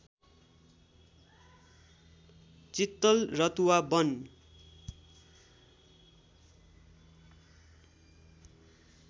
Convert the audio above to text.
चित्तल Ratuwa वन